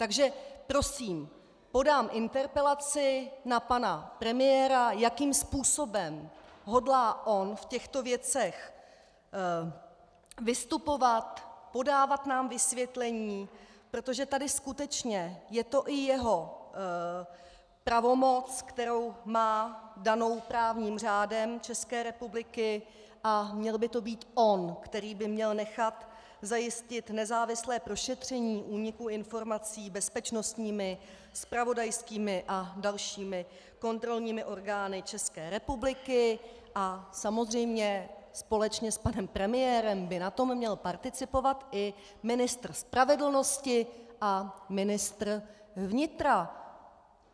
Takže prosím, podám interpelaci na pana premiéra, jakým způsobem hodlá on v těchto věcech vystupovat, podávat nám vysvětlení, protože tady skutečně je to i jeho pravomoc, kterou má danou právním řádem České republiky, a měl by to být on, který by měl nechat zajistit nezávislé prošetření úniku informací bezpečnostními, zpravodajskými a dalšími kontrolními orgány České republiky, a samozřejmě společně s panem premiérem by na tom měl participovat i ministr spravedlnosti a ministr vnitra.